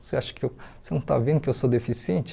Você acha que eu você não está vendo que eu sou deficiente?